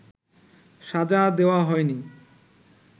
সাজা দেওয়া হয়নি